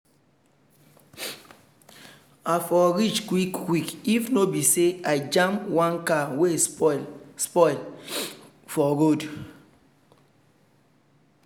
i for reach quick quick if no be say i just jam one car wey spoil spoil for road